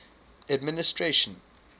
administration